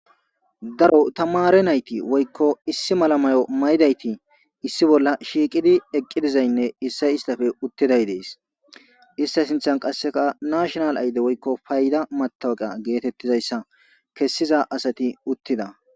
Daro tamare nayti woykko issi malla mayo maydayti issi bolla shiiqidi eqqi dizaynne issay istafe uttiday dees ista sinththan qasseka nashonal ayde woykko payda matawaqa geetettizayssa kessiza asati uttida